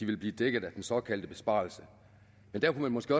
vil blive dækket af den såkaldte besparelse men der kunne man måske